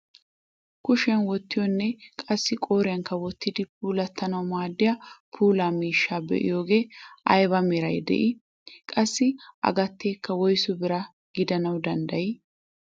Kushiyaan wottiyoonne qassi qooriyaankka wottiidi puulattanawu maaddiyaa puula miishshaa be'iyoogee ayba meraara de'ii? qassi a gateekka woyssu bira gidanawu danddayii?